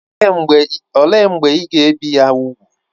Olee mgbe ị ga-ebi ya úgwù?